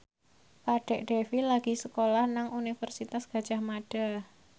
Kadek Devi lagi sekolah nang Universitas Gadjah Mada